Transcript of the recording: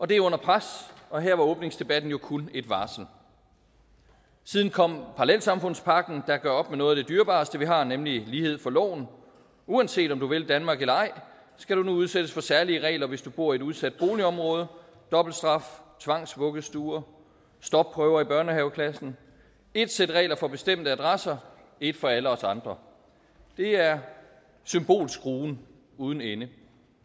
det er under pres og her var åbningsdebatten jo kun et varsel siden kom parallelsamfundspakken der gør op med noget af det dyrebareste vi har nemlig lighed for loven uanset om du vil danmark eller ej skal du nu udsættes for særlige regler hvis du bor i et udsat boligområde dobbelt straf tvangsvuggestuer stopprøver i børnehaveklassen ét sæt regler for bestemte adresser ét for alle os andre det er symbolskruen uden ende